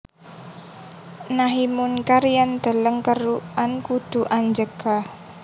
Nahi mungkar yen deleng kerukan kudu anjegah